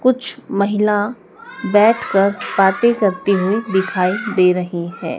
कुछ महिला बैठ कर बांते करती हुए दिखाई दे रही है।